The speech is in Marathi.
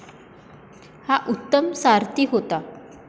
हा उत्तम सारथी होता.